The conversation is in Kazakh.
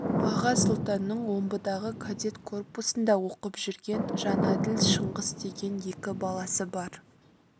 аға сұлтанның омбыдағы кадет корпусында оқып жүрген жәнәділ шыңғыс деген екі баласы бар